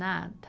Nada.